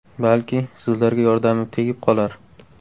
Balki, sizlarga yordamim tegib qolar.